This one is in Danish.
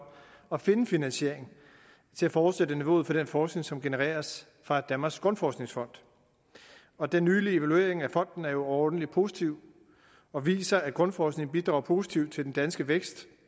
at finde en finansiering til at fortsætte niveauet for den forskning som genereres fra danmarks grundforskningsfond og den nylige evaluering af fonden er jo overordentlig positiv og viser at grundforskningen bidrager positivt til den danske vækst